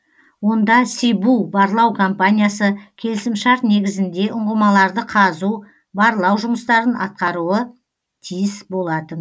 онда си бу барлау компаниясы келісімшарт негізінде ұңғымаларды қазу барлау жұмыстарын атқаруы тиіс болатын